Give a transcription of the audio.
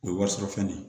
O ye wari sɔrɔ fɛn ye